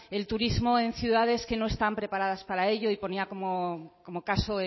el turismo en ciudades que no están preparadas para ello y ponía como caso